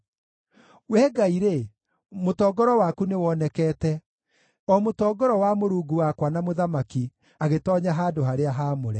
Wee Ngai-rĩ, mũtongoro waku nĩwonekete, o mũtongoro wa Mũrungu wakwa na Mũthamaki agĩtoonya handũ-harĩa-haamũre.